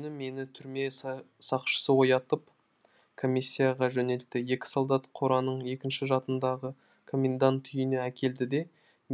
келесі күні мені түрме сақшысы оятып комиссияға жөнелтті екі солдат қораның екінші жатындағы комендант үйіне әкелді де